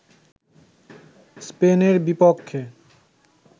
স্পেনের বিপক্ষে